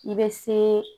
I bɛ se